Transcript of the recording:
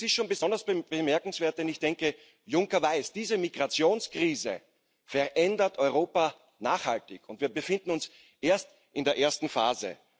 Es ist schon besonders bemerkenswert, denn Juncker weiß Diese Migrationskrise verändert Europa nachhaltig, und wir befinden uns erst in der ersten Phase.